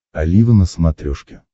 олива на смотрешке